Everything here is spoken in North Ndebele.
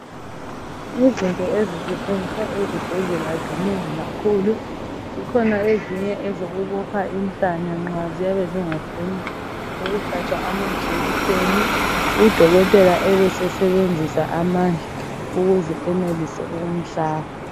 Izinto ezisetshenziswa ezibhedlela zinengi kakhulu zikhona ezinye ezokubopha inhlanya nxa ziyabe zingafuni ukuhlatshwa amajekiseni udokotela ebese sebenzisa amandla ukuze enelise ukumhlaba.